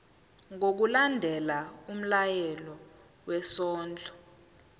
ngokulandela umyalelo wesondlo